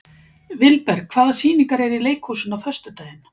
Vilberg, hvaða sýningar eru í leikhúsinu á föstudaginn?